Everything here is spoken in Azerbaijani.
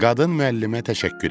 Qadın müəllimə təşəkkür etdi.